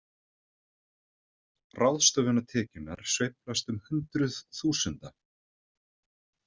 Ráðstöfunartekjurnar sveiflast um hundruð þúsunda